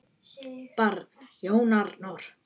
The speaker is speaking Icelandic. Barn: Jón Arnar.